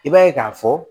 I b'a ye k'a fɔ